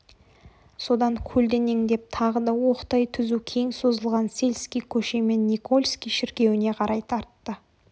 содан көлденеңдеп тағы да оқтай түзу кең созылған сельский көшемен никольский шіркеуіне қарай тартты